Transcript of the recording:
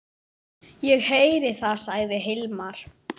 Ég heyri það, sagði Hilmar.